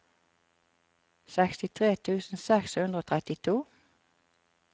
sekstitre tusen seks hundre og trettito